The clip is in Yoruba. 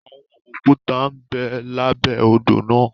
Àwọn òkúta n bẹ labẹ odò náà.